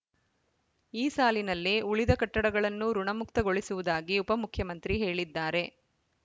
ಈ ಸಾಲಿನಲ್ಲೇ ಉಳಿದ ಕಟ್ಟಡಗಳನ್ನೂ ಋುಣಮುಕ್ತಗೊಳಿಸುವುದಾಗಿ ಉಪಮುಖ್ಯಮಂತ್ರಿ ಹೇಳಿದ್ದಾರೆ